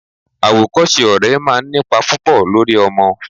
Awokose ọ̀rẹ́ máa ń nípa púpò lórí ọmọ.